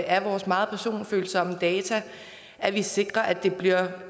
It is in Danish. af vores meget personfølsomme data at vi sikrer at det bliver